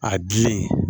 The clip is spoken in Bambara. A gilen